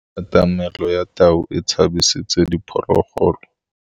Katamêlô ya tau e tshabisitse diphôlôgôlô.